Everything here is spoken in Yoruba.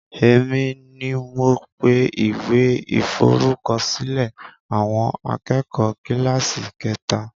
Èmi ni mo pe ìwé iforukosilẹ̀ àwọn akẹ́kọ̀ kíláàsì kẹta